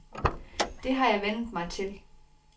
Det har jeg vænnet mig til.